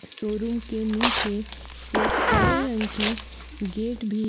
showroom के नीचे एक हरे रंग की गेट भी--